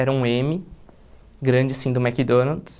Era um eme, grande assim, do McDonald's.